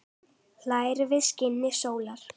hlær við skini sólar